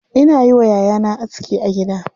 Ina yi wa yayana aski a gida.